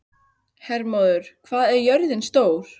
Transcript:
Hermóður, hvað er jörðin stór?